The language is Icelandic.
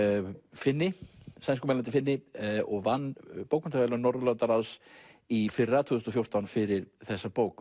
Finni sænskumælandi Finni og vann bókmenntaverðlaun Norðurlandaráðs í fyrra tvö þúsund og fjórtán fyrir þessa bók